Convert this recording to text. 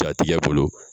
Ja tigɛ bolo